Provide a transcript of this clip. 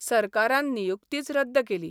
सरकारान नियुक्तीच रद्द केली.